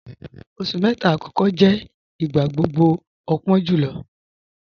Oṣù mẹta akọkọ jẹ̀ igbagbogbo àpọ̀n julọ